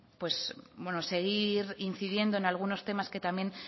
bueno pues seguir incidiendo en algunos temas que también